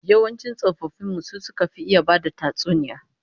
Yawancin tsofaffin mu su suka fi iya bada tatsuniya